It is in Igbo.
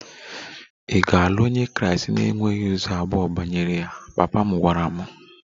Ị ga-alụ onye Kraịst na e nweghị ụzọ abụọ banyere ya! Papa m gwara m.